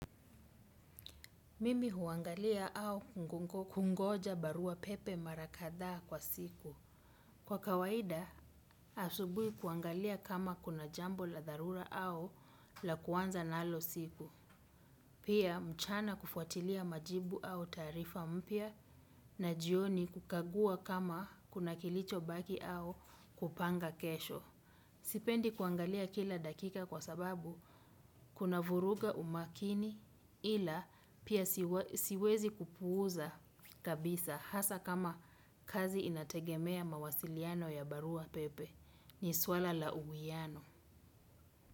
Mimi huangalia au kungoja barua pepe mara kadhaa kwa siku. Kwa kawaida, asubuhi kuangalia kama kuna jambo la dharura au la kuanza na nalo siku. Pia mchana kufuatilia majibu aubtaarifa mpya. Na jioni kukagua kama kuna kilichobaki au kupanga kesho. Sipendi kuangalia kila dakika kwa sababu kuna vuruga umakini ila pia siwezi kupuuza kabisa hasa kama kazi inategemea mawasiliano ya barua pepe ni swala la uwiano.